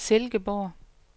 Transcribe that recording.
Silkeborg